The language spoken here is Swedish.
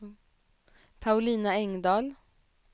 Paulina Engdahl